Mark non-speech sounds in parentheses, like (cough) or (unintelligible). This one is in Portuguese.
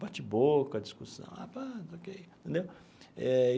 bate-boca, discussão ah (unintelligible) não sei o que entendeu eh.